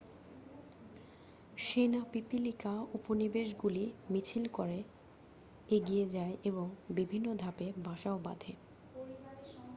সেনা পিপিলিকা উপনিবেশগুলি মিছিল করে এগিয়ে যায় এবং বিভিন্ন ধাপে বাসাও বাঁধে